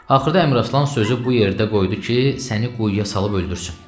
Axırda Əmraslan sözü bu yerdə qoydu ki, səni quyuya salıb öldürsün.